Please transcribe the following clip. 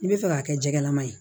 I bɛ fɛ k'a kɛ jɛgɛlama ye